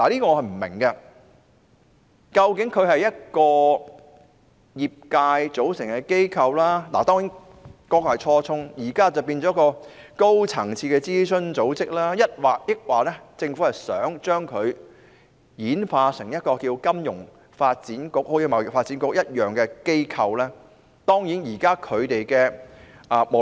究竟金發局是一個由業界組成的機構——當然，這是初衷，金發局現時已經變成高層次諮詢組織——抑或政府想把它轉型成為貿發局那樣的機構呢？